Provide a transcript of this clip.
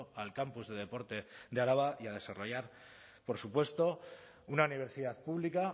al campus de deporte de araba y a desarrollar por supuesto una universidad pública